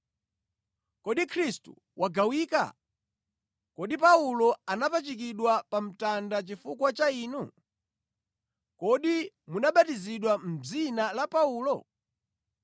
Kodi Khristu wagawikana? Kodi Paulo anapachikidwa pa mtanda chifukwa cha inu? Kodi munabatizidwa mʼdzina la Paulo?